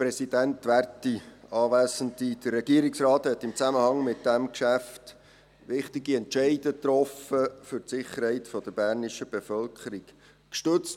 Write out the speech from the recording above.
Der Regierungsrat hat in Zusammenhang mit diesem Geschäft wichtige Entscheide für die Sicherheit der bernischen Bevölkerung getroffen.